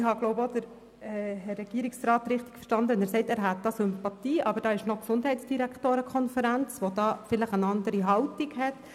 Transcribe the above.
Ich glaube, auch Herrn Regierungsrat Schnegg richtig verstanden zu haben, wenn er sagt, er habe eine gewisse Sympathie, aber die Gesundheitsdirektorenkonferenz nehme möglicherweise eine andere Haltung ein.